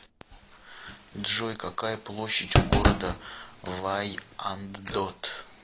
джой какая площадь у города вайандот